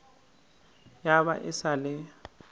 ya ba e sa le